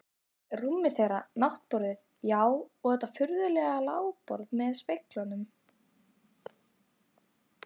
Rúmið þeirra, náttborðin, já, og þetta furðulega lágborð með speglunum.